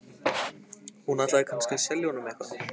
Hún ætlaði kannski að selja honum eitthvað.